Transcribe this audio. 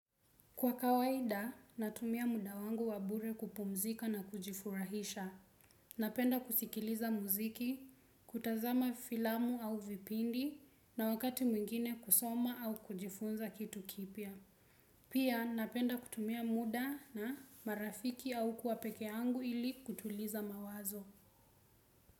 Kwa kawaida, natumia muda wangu wa bure kupumzika na kujifurahisha. Napenda kusikiliza muziki, kutazama filamu au vipindi na wakati mwingine kusoma au kujifunza kitu kipya. Pia, napenda kutumia muda na marafiki au kuwa peke yangu ili kutuliza mawazo.